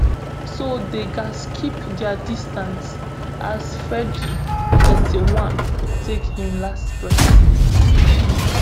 so dem gatz keep dia distance as freddy thirty-one take im last breath